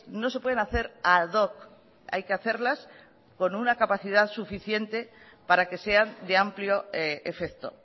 no se pueden hacer ad hoc hay que hacerlas con una capacidad suficiente para que sean de amplio efecto